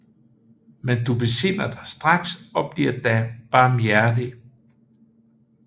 Men du besinder dig straks og bliver da barmhjertig